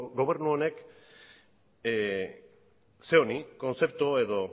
gobernu honek kontzeptu